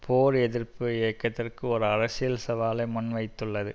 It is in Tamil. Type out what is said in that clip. போர் எதிர்ப்பு இயக்கத்துக்கு ஒரு அரசியல் சவாலை முன்வைத்துள்ளது